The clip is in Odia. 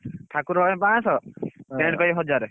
ଠାକୁର ପାଇଁ ପାଁଶ tent ପାଇଁ ହଜାରେ।